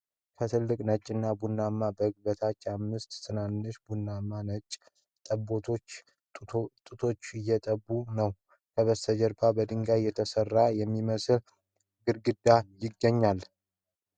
ከትልቅ፣ ነጭ እና ቡናማ በግ በታች አምስት ትናንሽ ቡናማና ነጭ ጠቦቶች ጡት እየጠቡ ነው። ከበስተጀርባ በድንጋይ የተሰራ የሚመስል ግድግዳ ይገኛል።